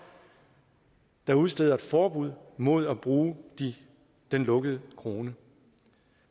der udsteder et forbud mod at bruge den lukkede krone